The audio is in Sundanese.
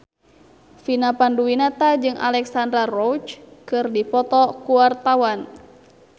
Vina Panduwinata jeung Alexandra Roach keur dipoto ku wartawan